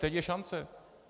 Teď je šance.